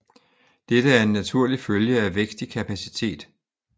Dette er en naturlig følge af vækst i kapacitet